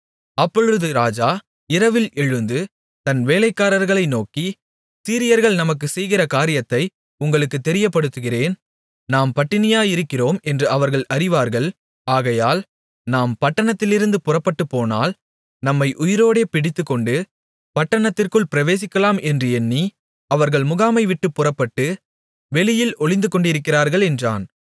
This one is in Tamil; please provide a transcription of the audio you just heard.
அப்பொழுது இராஜா இரவில் எழுந்து தன் வேலைக்காரர்களை நோக்கி சீரியர்கள் நமக்குச் செய்கிற காரியத்தை உங்களுக்குத் தெரியப்படுத்துகிறேன் நாம் பட்டினியாயிருக்கிறோம் என்று அவர்கள் அறிவார்கள் ஆகையால் நாம் பட்டணத்திலிருந்து புறப்பட்டுப்போனால் நம்மை உயிரோடே பிடித்துக்கொண்டு பட்டணத்திற்குள் பிரவேசிக்கலாம் என்று எண்ணி அவர்கள் முகாமை விட்டுப் புறப்பட்டு வெளியில் ஒளிந்துகொண்டிருக்கிறார்கள் என்றான்